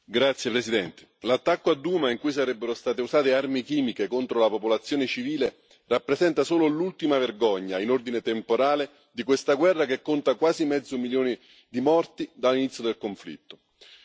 Signor Presidente, onorevoli colleghi, l'attacco a Douma, in cui sarebbero state usate armi chimiche contro la popolazione civile, rappresenta solo l'ultima vergogna, in ordine temporale, di questa guerra che conta quasi mezzo milioni di morti dall'inizio del conflitto.